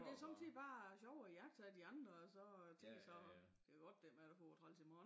Det sommetider bare sjovere at iagttage de andre og så tænke sig og det godt det ikke er mig der får det træls i morgen